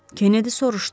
Kenedi soruşdu.